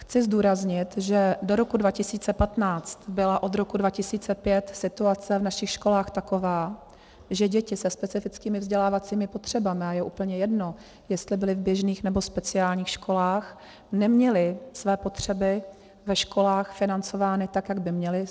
Chci zdůraznit, že do roku 2015 byla od roku 2005 situace v našich školách taková, že děti se specifickými vzdělávacími potřebami, a je úplně jedno, jestli byly v běžných, nebo speciálních školách, neměly své potřeby ve školách financovány tak, jak by měly.